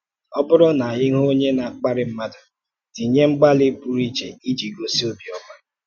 Ọ́ bụrụ̀ na ị hụ̀ onye na-akpàrí mmadụ, tìnye mgbàlí pụrụ iche iji gosi ọ̀bịọ́mà.